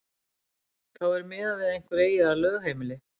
þá er miðað við að einhver eigi þar lögheimili